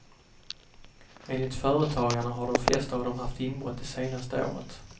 Enligt företagarna har de flesta av dem haft inbrott det senaste året.